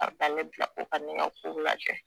A bi ta ne bila ko ka ne ka kow lajɛ